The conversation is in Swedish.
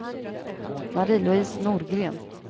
Marie-Louise Norgren